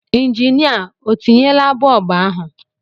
Injinịa o tinyela bọb ahụ?